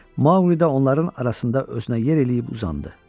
Maqlidə onların arasında özünə yer eləyib uzandı.